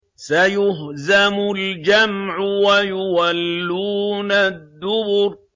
سَيُهْزَمُ الْجَمْعُ وَيُوَلُّونَ الدُّبُرَ